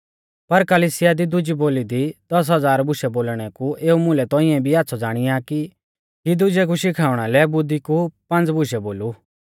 पर कलिसिया दी दुजी बोली दी दस हज़ार बुशै बोलणै कु एऊ मुलै तौंइऐ भी आच़्छ़ौ ज़ाणिया आ कि दुजै कु शिखाउणा लै बुद्धी कु पांज़ा बुशै बोलु